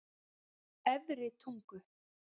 Efri Tungu